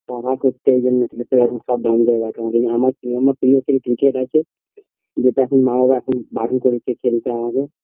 বাবা কোথাও যেতে দেয়না এখন সববন্ধ রাখ আমার প্রিয় আমার প্রিয় ক্রিকেট আছে যেটা এখন মা বাবা এখন বারন করেছে খেলতে আমাকে